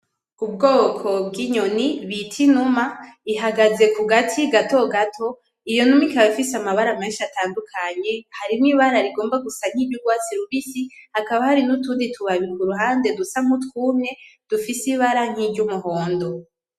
Ubwoko bw'inyoni bita Inuma ihagaze kugati gato gato, iyo numa ikaba ifise amabara menshi atandukanye harimwo ibara rigomba gusa niry'urwatsi rubisi hakaba hari n'utundi tubabi kuruhande dusa nkutwumye dufise ibara nkiry'umuhondo .